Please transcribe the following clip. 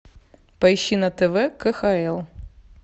поищи на тв кхл